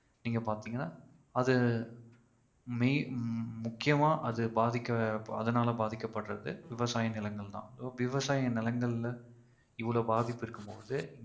நீங்க பாத்தீங்கன்னா அது main~ முக்கியமா அது பாதிக்க அதனால பாதிக்கப்பட்றது விவசாய நிலங்கள் தான். விவசாய நிலங்கள்ல இவ்வள்வு பாதிப்பு இருக்கும் போது